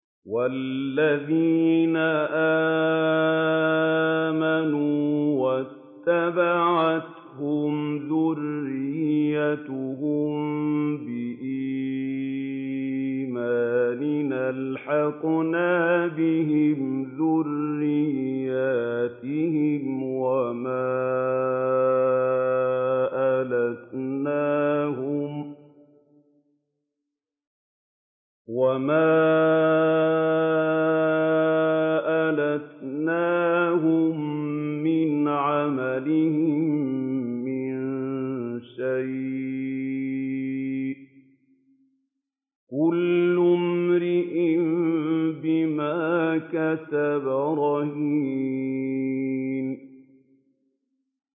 وَالَّذِينَ آمَنُوا وَاتَّبَعَتْهُمْ ذُرِّيَّتُهُم بِإِيمَانٍ أَلْحَقْنَا بِهِمْ ذُرِّيَّتَهُمْ وَمَا أَلَتْنَاهُم مِّنْ عَمَلِهِم مِّن شَيْءٍ ۚ كُلُّ امْرِئٍ بِمَا كَسَبَ رَهِينٌ